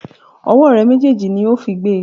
Ọwọ́ rẹ méjèèjì ni ó fi gbe!